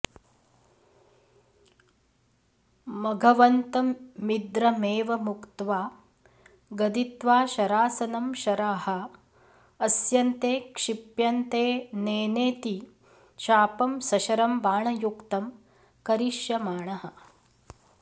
मघवन्तमिन्द्रमेवमुक्त्वा गदित्वा शरासनं शराः अस्यन्ते क्षिप्यन्तेऽनेनेति चापं सशरं बाणयुक्तं करिष्यमाणः